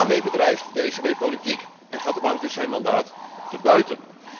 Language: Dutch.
En daarmee bedrijft de ECB politiek en gaat de bank dus zijn mandaat te buiten.